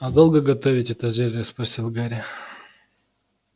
а долго готовить это зелье спросил гарри